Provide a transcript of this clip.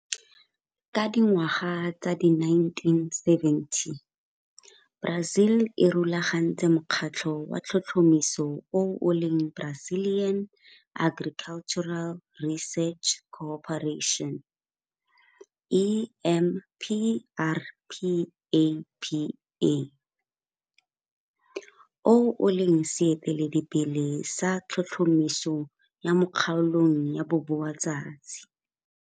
Ka dingwaga tsa di1970, Brazil e rulagantse mokgatlho wa tlhotlhomiso o o leng Brazilian Agricultural Research Corporation, EMPRPAPA, o o leng seeteledipele sa tlhotlhomiso ya mo kgaolong ya boboatsatsi.